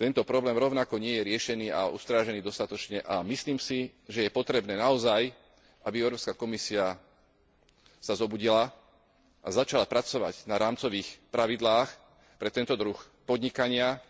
Tento problém rovnako nie je riešený a ustrážený dostatočne a myslím si, že je potrebné naozaj, aby Európska komisia sa zobudila a začala pracovať na rámcových pravidlách pre tento druh podnikania,